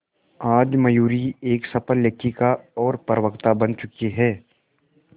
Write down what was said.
आज मयूरी एक सफल लेखिका और प्रवक्ता बन चुकी है